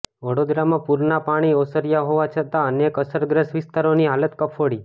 વડોદરામાં પૂરના પાણી ઓસર્યા હોવા છતાં અનેક અસરગ્રસ્ત વિસ્તારોની હાલત કફોડી